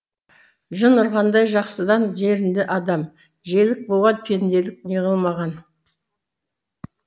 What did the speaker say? жын ұрғандай жақсыдан жерінді адам желік буған пенделік неғылмаған